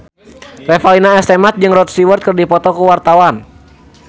Revalina S. Temat jeung Rod Stewart keur dipoto ku wartawan